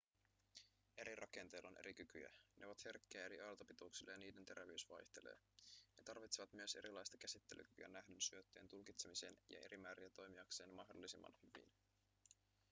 eri rakenteilla on eri kykyjä ne ovat herkkiä eri aaltopituuksille ja niiden terävyys vaihtelee ne tarvitsevat myös erilaista käsittelykyä nähdyn syötteen tulkitsemiseen ja eri määriä toimiakseen mahdollisimman hyvin